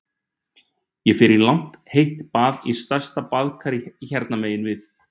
Ég fer í langt heitt bað í stærsta baðkari hérna megin við